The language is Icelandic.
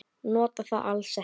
Nota það alls ekki.